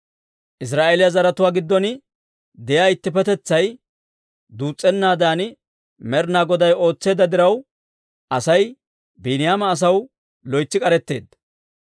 Israa'eeliyaa zaratuwaa giddon de'iyaa ittippetetsay duus's'anaadan Med'inaa Goday ootseedda diraw, Asay Biiniyaama asaw loytsi k'aretteedda.